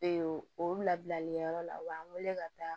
Ee o labilalikɛ yɔrɔ la u b'an wele ka taa